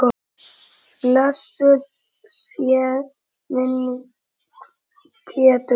Blessuð sé minning Péturs.